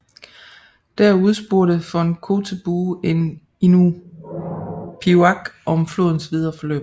Der udspurgte von Kotzebue en iñupiaq om flodens videre forløb